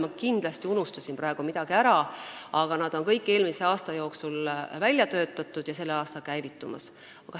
Ma kindlasti unustasin praegu midagi ära, aga need on kõik eelmise aasta jooksul välja töötatud ja sellel aastal käivitumas.